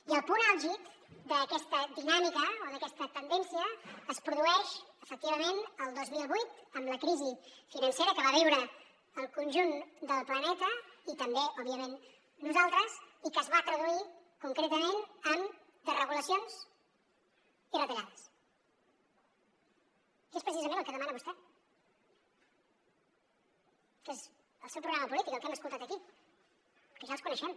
i el punt àlgid d’aquesta dinàmica o d’aquesta tendència es produeix efectivament el dos mil vuit amb la crisi financera que va viure el conjunt del planeta i també òbviament nosaltres i que es va traduir concretament en desregulacions i retallades que és precisament el que demana vostè que és el seu programa polític el que hem escoltat aquí que ja els coneixem